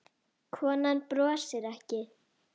Konan brosir ekki.